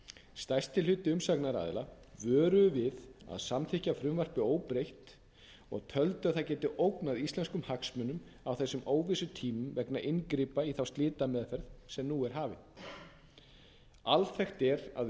stærsti hluti umsagnaraðila vöruðu við að samþykkja frumvarpið óbreytt og töldu að það gæti ógnað íslenskum hagsmunum á þessum óvissutímum vegna inngripa í þá slitameðferð sem nú er hafin alþekkt er að